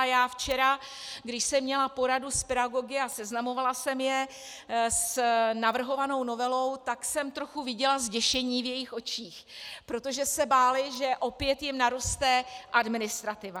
A já včera, když jsem měla poradu s pedagogy a seznamovala jsem je s navrhovanou novelou, tak jsem trochu viděla zděšení v jejich očích, protože se báli, že opět jim naroste administrativa.